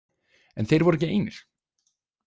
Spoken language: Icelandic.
En þeir voru ekki einir.